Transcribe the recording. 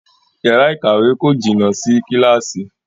Yàrá ìkàwé kò jìnà sí Kíláàsì